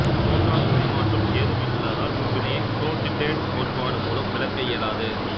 proton பரிமாற்றம் ஏதுமில்லாததால் இவ்வினையை புரொன்சிட்டெடு கோட்பாடு மூலம் விளக்க இயலாது